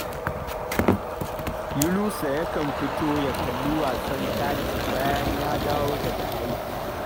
Yunusa yakan fito ya kalli wasan kati bayan ya dawo daga aiki